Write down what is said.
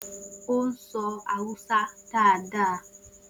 O soro Hausa daadaa.